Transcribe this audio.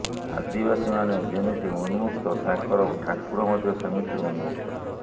ଆଦିବାସମାନେ ଯେମିତି ଉନ୍ମକ୍ତ ତାଙ୍କର ଠାକୁର ମଧ୍ୟ ସେମିତି ଉନ୍ମକ୍ତ